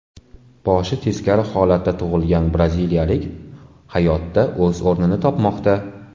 Boshi teskari holatda tug‘ilgan braziliyalik hayotda o‘z o‘rnini topmoqda.